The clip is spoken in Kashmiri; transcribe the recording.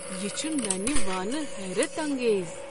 یہ چھ ننہ وانہٕ حیرت انگیز۔